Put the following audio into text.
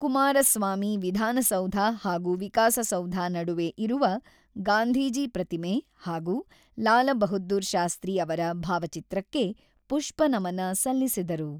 ಕುಮಾರಸ್ವಾಮಿ ವಿಧಾನಸೌಧ ಹಾಗೂ ವಿಕಾಸ ಸೌಧ ನಡುವೆ ಇರುವ, ಗಾಂಧೀಜಿ ಪ್ರತಿಮೆ ಹಾಗೂ ಲಾಲ ಬಹದ್ದೂರ ಶಾಸ್ತ್ರಿ ಅವರ ಭಾವಚಿತ್ರಕ್ಕೆ ಪುಷ್ಪ ನಮನ ಸಲ್ಲಿಸಿದರು.